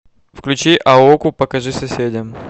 включи аоку покажи соседям